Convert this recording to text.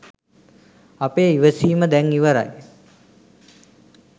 අපේ ඉවසීම දැන් ඉවරයි